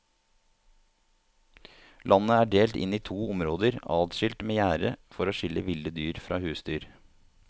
Landet er delt inn i to områder adskilt med gjerde for å skille ville dyr fra husdyr.